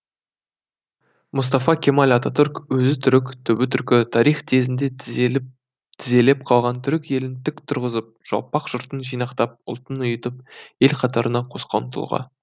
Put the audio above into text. мұстафа кемал ататүрік өзі түрік түбі түркі тарих тезінде тізелеп қалған түрік елін тік тұрғызып жалпақ жұртын жинақтап ұлтын ұйытып ел қатарына қосқан тұлға